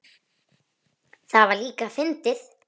Við munum sakna hennar mikið.